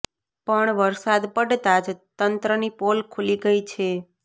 પણ વરસાદ પડતા જ તંત્રની પોલ ખુલી ગઈ છે